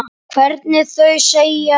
Hvernig þau segja það.